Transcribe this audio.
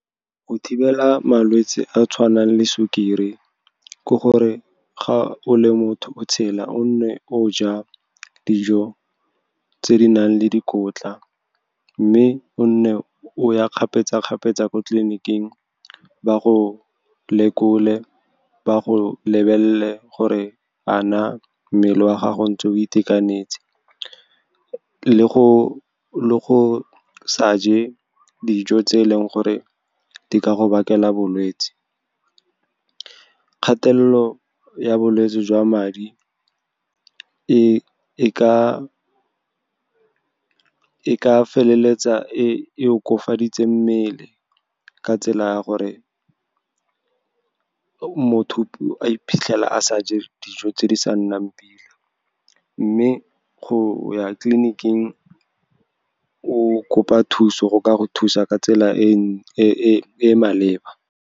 Go thibela malwetse a a tshwanang le sukiri ke gore ga o le motho o tshela, o nne o ja dijo tse di nang le dikotla, mme o nne o ya kgapetsa-kgapetsa ko tleliniking. Ba go lekole, ba go lebelele gore a na mmele wa gago ntse o itekanetse, le go sa je dijo tse e leng gore di ka go bakela bolwetse. Kgatelelo ya bolwetse jwa madi e ka feleletsa e okafaditse mmele ka tsela ya gore motho a iphitlhele a sa je dijo tse di sa nnang pila. Mme go ya tleliniking, o kopa thuso go ka go thusa ka tsela e e maleba.